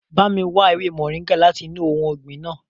Ba mi wa ewe moringa lati inu ohun ọgbin naa!